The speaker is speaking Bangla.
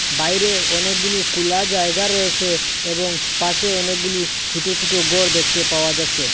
বাইরে অনেকগুলু কোলা জায়গা রয়েসে এবং পাশে অনেকগুলু ছুটো ছুটো গর দেখতে পাওয়া যাচ্ছে।